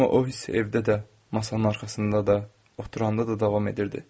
Amma o hiss evdə də, masanın arxasında da, oturanda da davam edirdi.